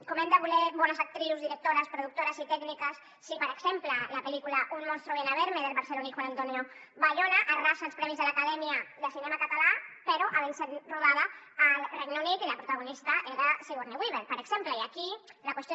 com hem de voler bones actrius directores productores i tècniques si per exemple la pel·lícula un monstruo viene a verme del barceloní juan antonio bayona arrasa als premis de l’acadèmia de cinema català però havent sigut rodada al regne unit i la protagonista era sigourney weaver per exemple i aquí la qüestió